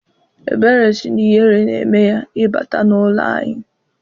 Ebere sị na ihere na-eme ya ịbata n'ụlọ anyị.